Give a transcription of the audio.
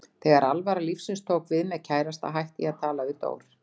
Þegar alvara lífsins tók við, með kærasta, hætti ég að tala við Dór.